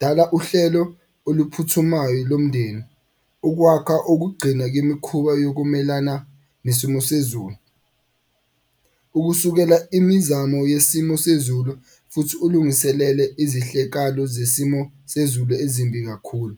Dala uhlelo oluphuthumayo lomndeni ukwakha okugcina kwemikhuba yokumelana nesimo sezulu. Ukusukela imizamo yesimo sezulu futhi ulungiselele izehlekalo zesimo sezulu ezimbi kakhulu.